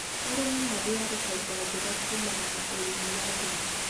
Arĩmi magĩaga bainda njega kũmana na ũrĩmi wa ndimũ